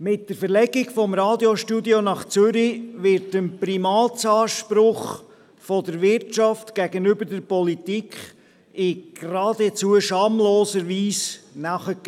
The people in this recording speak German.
Mit der Verlegung des Radiostudios nach Zürich wird dem Primatsanspruch der Wirtschaft gegenüber der Politik in geradezu schamloser Weise nachgegeben.